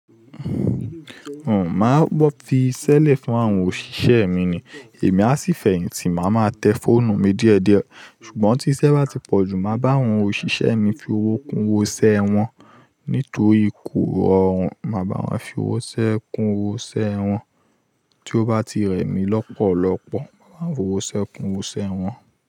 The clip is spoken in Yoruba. Màá fi í ṣẹlẹ̀ fún àwọn òṣìṣẹ́ mi ni. Èmi á sì fẹ̀yìntì, màá máa tẹ fóònù mi diediẹ. Ṣùgbọ́n tí iṣẹ́ bá ti pọ̀ jù, màá bá àwọn òṣìṣẹ́ mi fi owó kun owó'se wọn. Nítorí ikú ọ̀run, màá bá wọn fi owó se kun owó se wọn. Tí ó bá ti rẹ̀ mí lọ́pọ̀lọpọ̀, màá bá wọn fi owó se kun owó se wọn.